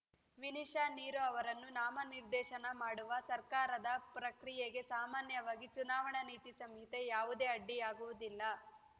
ವಿನಿಶಾ ನಿರೋ ಅವರನ್ನು ನಾಮನಿರ್ದೇಶನ ಮಾಡುವ ಸರ್ಕಾರದ ಪ್ರಕ್ರಿಯೆಗೆ ಸಾಮಾನ್ಯವಾಗಿ ಚುನಾವಣಾ ನೀತಿ ಸಂಹಿತೆ ಯಾವುದೇ ಅಡ್ಡಿಯಾಗುವುದಿಲ್ಲ